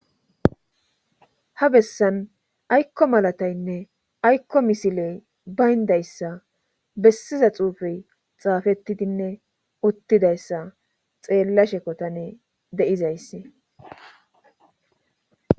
ha bessan aykko malataynne aykko misiley bayndayssa bessiza xuufey xaafettidinne uttidayssa xeella shekotane deizaysse